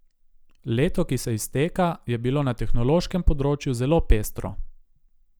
Leto, ki se izteka, je bilo na tehnološkem področju zelo pestro.